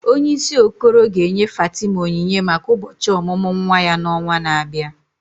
Onyeisi Okoro ga-enye Fatima onyinye maka ụbọchị ọmụmụ nwa ya n'ọnwa na-abịa.